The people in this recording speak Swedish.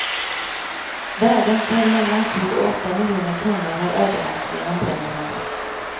Värden för mellan sju och åtta miljoner kronor har ödelagts genom bränderna.